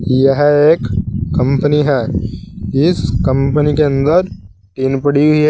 यह एक कंपनी है इस कंपनी के अंदर टीन पड़ी हुई है।